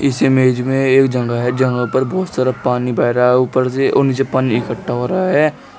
इस इमेज में एक जगह है जहा पर बहोत सारा पानी बह रहा है ऊपर से और नीचे पानी इकट्ठा हो रहा है।